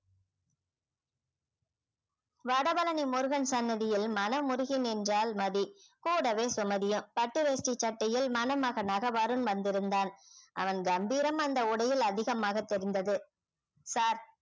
வடபழனி முருகன் சன்னதியில் மனம் உருகி நின்றாள் மதி கூடவே சுமதியும் பட்டு வேஷ்டி சட்டையில் மணமகனாக வருண் வந்திருந்தான் அவன் கம்பீரம் அந்த உடையில் அதிகமாக தெரிந்தது sir